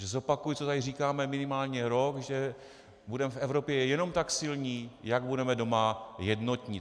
Takže zopakuji, co tady říkáme minimálně rok, že budeme v Evropě jenom tak silní, jak budeme doma jednotní.